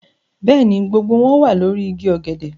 Bẹ́ẹ̀ ni, gbogbo wọn wà lórí igi ọ̀gẹ̀dẹ̀